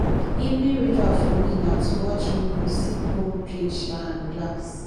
evening ritual for me na to watch movie sip cold drink um and relax